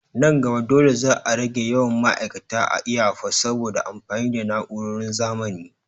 Nan gaba dole za a rage yawan ma'aikata a iyafot saboda amfani da na'uroron zamani.